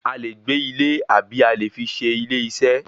A lè gbé ilé àbí a lè fi se ilé iṣẹ́.